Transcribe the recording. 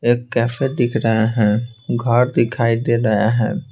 एक कैफे दिख रहा है घर दिखाई दे रहा है।